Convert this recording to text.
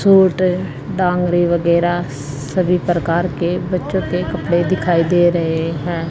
Suit डांगरी वगैरा सभी प्रकार के बच्चों के कपड़े दिखाई दे रहे हैं।